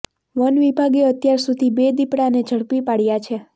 one વિભાગે અત્યાર સુધી બે દીપડાને ઝડપી પાડયા છે